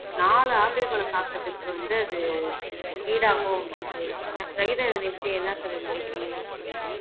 நாலு ஆப்பிள் பழம் சாப்பிட்டதுக்கு வந்து அது ஈடாகும் அப்படின்னு சொல்லி இருந்தாங்க. பிரகிதா இதப்பத்தி என்ன நினைக்கறீங்க கொஞ்சம் சொல்லுங்க